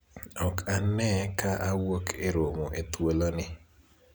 ok ane ka awuok e romo e thuolo ni